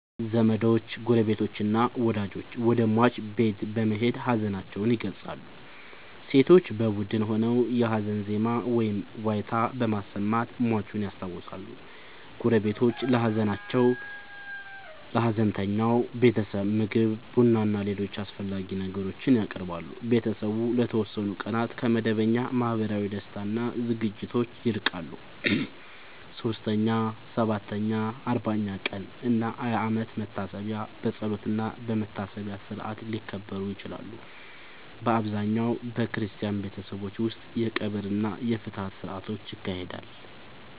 ዘመዶች፣ ጎረቤቶችና ወዳጆች ወደ ሟች ቤት በመሄድ ሀዘናቸውን ይገልጻሉ። ሴቶች በቡድን ሆነው የሀዘን ዜማ ወይም ዋይታ በማሰማት ሟቹን ያስታውሳሉ። ጎረቤቶች ለሀዘንተኛው ቤተሰብ ምግብ፣ ቡናና ሌሎች አስፈላጊ ነገሮችን ያቀርባሉ። ቤተሰቡ ለተወሰኑ ቀናት ከመደበኛ ማህበራዊ ደስታ እና ዝግጅቶች ይርቃል። 3ኛ፣ 7ኛ፣ 40ኛ ቀን እና የአመት መታሰቢያ በጸሎትና በመታሰቢያ ሥርዓት ሊከበሩ ይችላሉ። በአብዛኛው በክርስቲያን ቤተሰቦች ውስጥ የቀብር እና የፍትሐት ሥርዓቶች ይካሄዳሉ።